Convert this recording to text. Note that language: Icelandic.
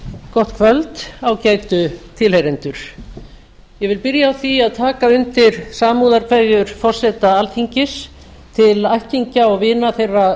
gott kvöld ágætu tilheyrendur ég vil byrja á því að taka undir samúðarkveðjur forseta alþingis til ættingja og vina þeirra